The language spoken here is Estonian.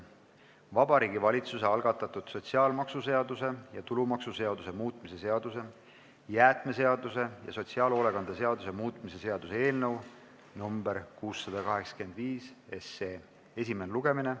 Vabariigi Valitsuse algatatud sotsiaalmaksuseaduse ja tulumaksuseaduse muutmise seaduse, jäätmeseaduse ja sotsiaalhoolekande seaduse muutmise seaduse eelnõu 685 esimene lugemine.